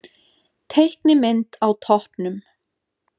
Teiknimynd á toppinn